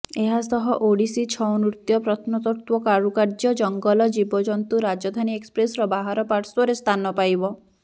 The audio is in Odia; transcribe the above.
ଏହାସହ ଓଡ଼ିଶୀ ଛଉନୃତ୍ୟ ପ୍ରତ୍ନତତ୍ତ୍ୱ କାରୁକାର୍ୟ୍ୟ ଜଙ୍ଗଲ ଜୀବଜନ୍ତୁ ରାଜଧାନୀ ଏକ୍ସପ୍ରେସର ବାହାରପାର୍ଶ୍ୱରେ ସ୍ଥାନ ପାଇବ